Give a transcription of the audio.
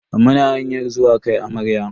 Muna hanyar zuwa kai amarya.